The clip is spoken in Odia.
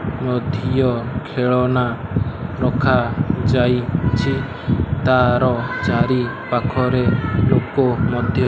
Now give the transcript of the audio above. ମଧୀୟ ଖେଳନା ରଖାଯାଇଚି ତାର ଚାରିପାଖରେ ଲୋକ ମତେ --